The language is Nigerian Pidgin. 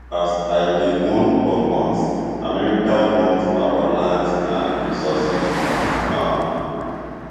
as i dey warn for months america want our land and resources um